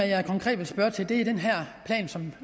jeg konkret vil spørge til er den her plan som